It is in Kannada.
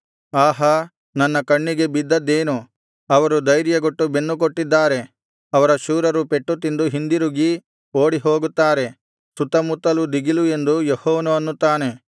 ಆಹಾ ನನ್ನ ಕಣ್ಣಿಗೆ ಬಿದ್ದದ್ದೇನು ಅವರು ಧೈರ್ಯಗೆಟ್ಟು ಬೆನ್ನುಕೊಟ್ಟಿದ್ದಾರೆ ಅವರ ಶೂರರು ಪೆಟ್ಟುತಿಂದು ಹಿಂದಿರುಗದೆ ಓಡಿಹೋಗುತ್ತಾರೆ ಸುತ್ತಮುತ್ತಲು ದಿಗಿಲು ಎಂದು ಯೆಹೋವನು ಅನ್ನುತ್ತಾನೆ